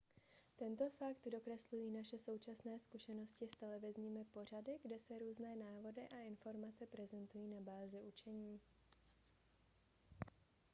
tento fakt dokreslují naše současné zkušenosti s televizními pořady kde se různé návody a informace prezentují na bázi učení